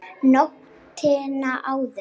Nóttina áður!